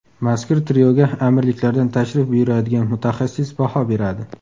Mazkur trioga Amirliklardan tashrif buyuradigan mutaxassis baho beradi.